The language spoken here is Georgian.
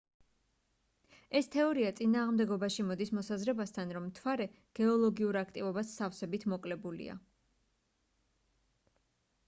ეს თეორია წინააღმდეგობაში მოდის მოსაზრებასთან რომ მთვარე გეოლოგიურ აქტივობას სავსებით მოკლებულია